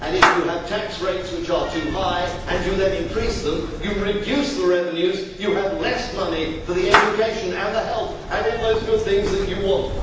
If you have tax rates which are too high and you then increase them you reduce the revenues, you have less money for education and health and all those good things that you want.